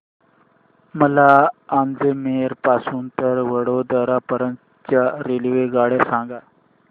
मला अजमेर पासून तर वडोदरा पर्यंत च्या रेल्वेगाड्या सांगा